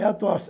É a tosse.